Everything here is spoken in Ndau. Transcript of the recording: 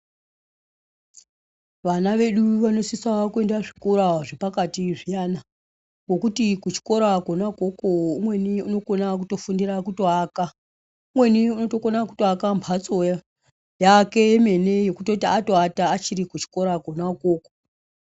Vana vedu vanosisawo kuenda zvikora zvepakati zviyana ,ngekuti kuchikora kona ukoko umweni unokona kutofundira kutoaka. Umweni unotokona kutoaka mhatso yake yemene yekutoti atoata achiri kuchikora kona ukoko.